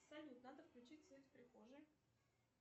салют надо включить свет в прихожей